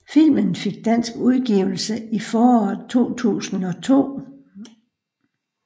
Filmen fik dansk udgivelse i foråret 2002